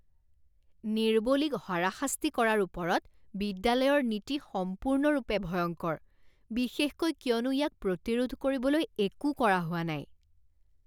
নিৰ্বলীক হাৰাশাস্তি কৰাৰ ওপৰত বিদ্যালয়ৰ নীতি সম্পূৰ্ণৰূপে ভয়ংকৰ, বিশেষকৈ কিয়নো ইয়াক প্ৰতিৰোধ কৰিবলৈ একো কৰা হোৱা নাই।